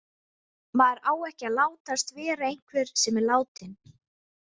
Maður á ekki að látast vera einhver sem er látinn.